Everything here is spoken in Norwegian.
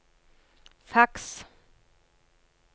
faks